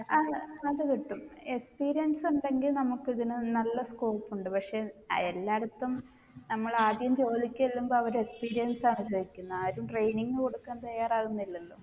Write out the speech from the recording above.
ആണ് അത് കിട്ടും experience ഉണ്ടെങ്കി നമ്മുക്ക് ഇതിന് നല്ല scope ഉണ്ട് പക്ഷേ അഹ് എല്ലായിടത്തും നമ്മൾ ആദ്യം ജോലിക്ക് ചെല്ലുമ്പോ അവർ experience ആണ് ചോയിക്കുന്നെ ആരും training കൊടുക്കാൻ തയ്യാറാവുന്നില്ലല്ലോ